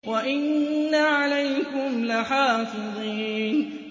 وَإِنَّ عَلَيْكُمْ لَحَافِظِينَ